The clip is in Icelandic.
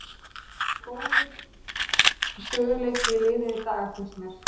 Það er góður stöðugleiki í liðinu í dag finnst mér.